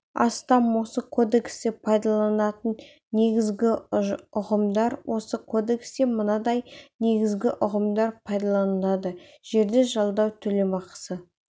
астам осы кодексте пайдаланылатын негізгі ұғымдар осы кодексте мынадай негізгі ұғымдар пайдаланылады жерді жалдау төлемақысы